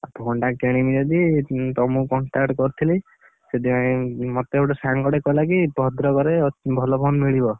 ଆଉ phone ଟା କିଣିବି ଯଦି ତମୁକୁ contact କରିଥିଲି। ସେଥିପାଇଁ ମତେ ଗୋଟେ ସାଙ୍ଗଟେ କହିଲା କି ଭଦ୍ରକରେ, ଭଲ phone ମିଳିବ।